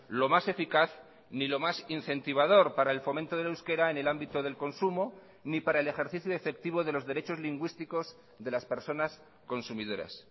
lo más eficaz ni lo más incentivador para el fomento del euskera en el ámbito del consumo ni para el ejercicio efectivo de los derechos lingüísticos de las personas consumidoras